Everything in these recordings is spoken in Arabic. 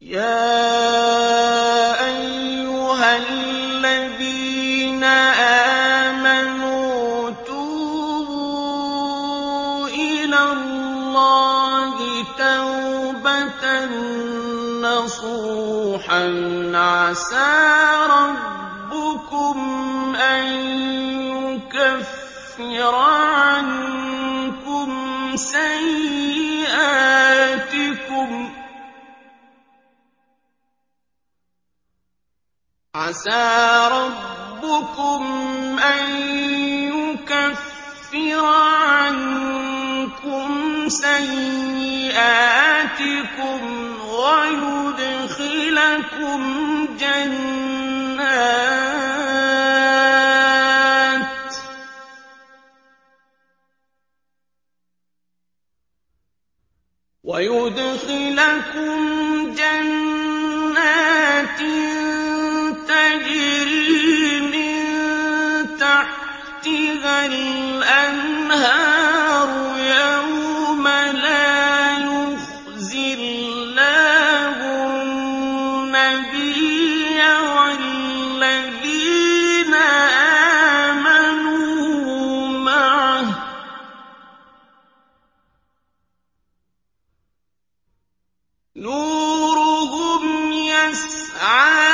يَا أَيُّهَا الَّذِينَ آمَنُوا تُوبُوا إِلَى اللَّهِ تَوْبَةً نَّصُوحًا عَسَىٰ رَبُّكُمْ أَن يُكَفِّرَ عَنكُمْ سَيِّئَاتِكُمْ وَيُدْخِلَكُمْ جَنَّاتٍ تَجْرِي مِن تَحْتِهَا الْأَنْهَارُ يَوْمَ لَا يُخْزِي اللَّهُ النَّبِيَّ وَالَّذِينَ آمَنُوا مَعَهُ ۖ نُورُهُمْ يَسْعَىٰ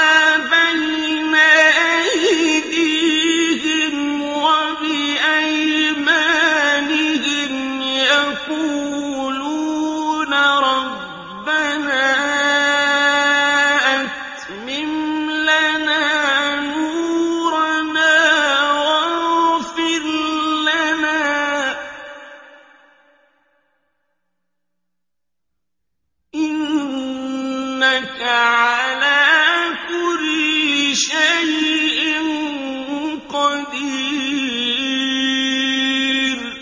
بَيْنَ أَيْدِيهِمْ وَبِأَيْمَانِهِمْ يَقُولُونَ رَبَّنَا أَتْمِمْ لَنَا نُورَنَا وَاغْفِرْ لَنَا ۖ إِنَّكَ عَلَىٰ كُلِّ شَيْءٍ قَدِيرٌ